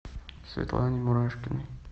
светлане мурашкиной